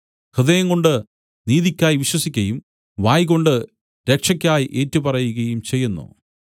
ഹൃദയംകൊണ്ട് നീതിയ്ക്കായി വിശ്വസിക്കയും വായ്കൊണ്ട് രക്ഷക്കായി ഏറ്റുപറയുകയും ചെയ്യുന്നു